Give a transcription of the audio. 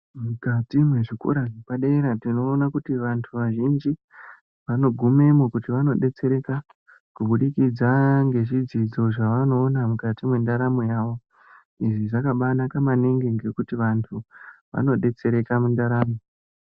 Mukati mwezvikora zvepadera, tinoona kuti vantu vazhinji vanogumemo kuti vandodetsereka, kubudikidza ngezvidzidzo zvavanoona mukati mwendaramo yavo, izvi zvakabaanaka maningi ngekuti vantu vanodetsereka mundaramo.